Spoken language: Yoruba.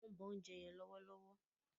wón ǹ bó oúnjẹ yen lówó.